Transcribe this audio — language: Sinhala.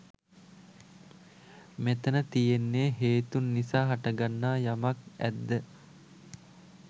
මෙතැන තියෙන්නේ හේතූන් නිසා හටගන්නා යමක් ඇද්ද